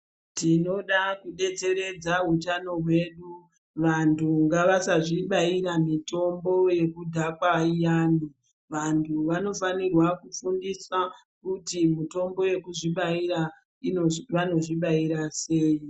Tinoda kudetseredza utano hwedu vantu ngavasazvibaira mitombo yekudhakwa iyana vantu vanofanirwa kufundiswa kuti mitombo yekuzvibaira vanozvibaira sei.